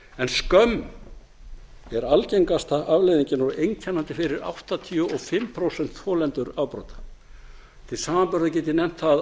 en skömm er algengasta afleiðingin og einkennandi fyrir áttatíu og fimm prósent þolendur afbrota til samanburðar get ég nefnt það